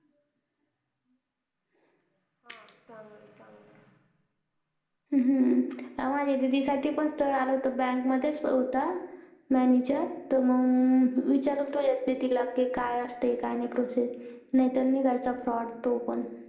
माझं दीदी साठी पण स्थळ आलं होत bank मधेच होता manager तो मग विचारलं तुझ दीदी ला काय असते काय नाही process नाहीतर निघायचं fraud तो पण